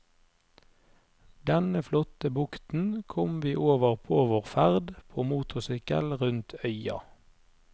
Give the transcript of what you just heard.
Denne flotte bukten kom vi over på vår ferd på motorsykkel rundt øya.